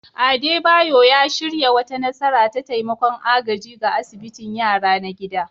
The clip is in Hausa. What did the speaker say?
Adebayor ya shirya wata nasara ta taimakon agaji ga asibitin yara na gida